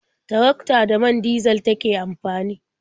Tarakta da man dizal take amfani.